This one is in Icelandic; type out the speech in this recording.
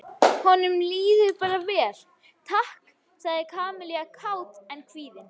Honum líður bara vel, takk sagði Kamilla kát en kvíðin.